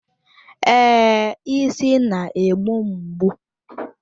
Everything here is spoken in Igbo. Èé, isi na-egbu m mgbu.